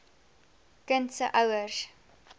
kind se ouers